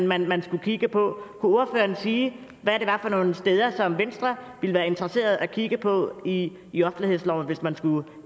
man man skulle kigge på ordføreren sige hvad det var for nogle steder som venstre ville være interesseret i at kigge på i i offentlighedsloven hvis man skulle